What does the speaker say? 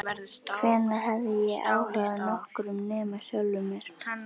Hvenær hafði ég haft áhuga á nokkrum nema sjálfum mér?